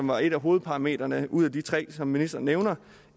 var et af hovedparametrene ud af de tre som ministeren nævnte